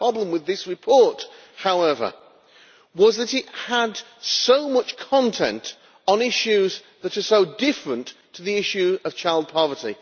My problem with this report, however, was that it had so much content on issues that are so different to the issue of child poverty.